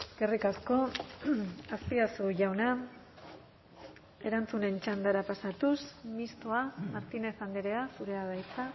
eskerrik asko azpiazu jauna erantzunen txandara pasatuz mistoa martínez andrea zurea da hitza